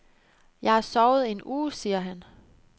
Jeg har sovet en uge, siger han.